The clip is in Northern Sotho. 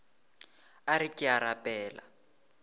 a re ke a rapela